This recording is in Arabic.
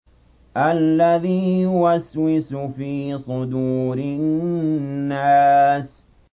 الَّذِي يُوَسْوِسُ فِي صُدُورِ النَّاسِ